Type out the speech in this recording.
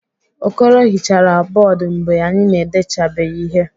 Okoro hichara bọọdụ mgbe anyị na-edechabeghị ihe.